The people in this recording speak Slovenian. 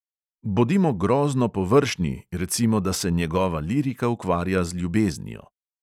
Bodimo grozno površni, recimo, da se njegova lirika ukvarja z ljubeznijo.